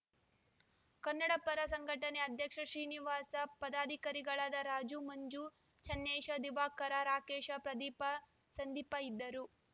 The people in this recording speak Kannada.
ಕನ್ನಡಪರ ಸಂಘಟನೆ ಅಧ್ಯಕ್ಷ ಶ್ರೀನಿವಾಸ ಪದಾಧಿಕಾರಿಗಳಾದ ರಾಜು ಮಂಜು ಚನ್ನೇಶ ದಿವಾಕರ ರಾಕೇಶ ಪ್ರದೀಪ ಸಂದೀಪ ಇದ್ದರು